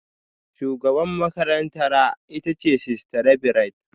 Shugabar makarantara ita ce Sister Reverend